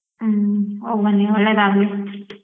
ಹ್ಮ್ ಹೋಗ್ಬನ್ನಿ ಒಳ್ಳೇದಾಗ್ಲಿ.